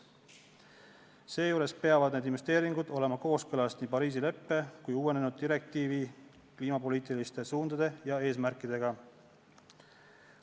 Seejuures peavad need investeeringud olema kooskõlas nii Pariisi leppe kui ka uuendatud direktiivi kliimapoliitiliste suundade ja eesmärkidega.